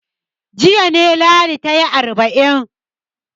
Jiya ne Ladi ta yi arba'in.